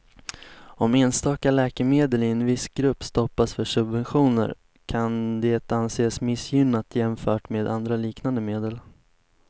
Om enstaka läkemedel i en viss grupp stoppas för subventioner kan det anses missgynnat jämfört med andra liknande medel.